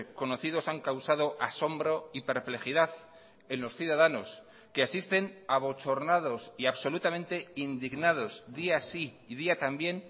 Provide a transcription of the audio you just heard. conocidos han causado asombro y perplejidad en los ciudadanos que asisten abochornados y absolutamente indignados día sí y día también